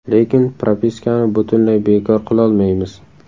Lekin propiskani butunlay bekor qilolmaymiz.